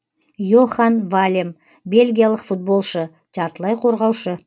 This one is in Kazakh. йохан валем бельгиялық футболшы жартылай қорғаушы